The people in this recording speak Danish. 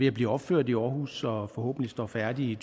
at blive opført i aarhus og som forhåbentlig står færdigt i